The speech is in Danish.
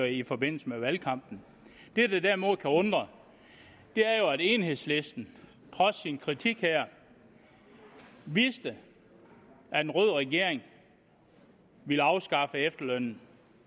i forbindelse med valgkampen det der derimod kan undre er jo at enhedslisten trods sin kritik her vidste at en rød regering ville afskaffe efterlønnen